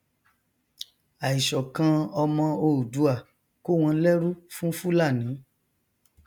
àìṣọkan ọmọ oòduà kó wọn lẹrù fún fúlàni